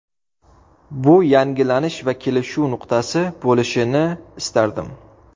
Bu yangilanish va kelishuv nuqtasi bo‘lishini istardim.